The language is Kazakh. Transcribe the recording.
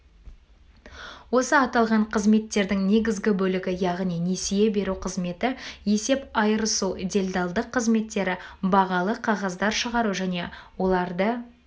осы аталған қызметтердің негізгі бөлігі яғни несие беру қызметі есеп айырысу делдалдық қызметтері бағалы қағаздар шығару және оларды